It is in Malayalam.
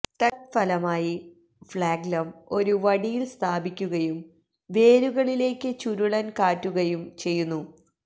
തത്ഫലമായി ഫ്ലാഗ്ല്ലം ഒരു വടിയിൽ സ്ഥാപിക്കുകയും വേരുകളിലേക്ക് ചുരുളൻ കാറ്റുകയും ചെയ്യുന്നു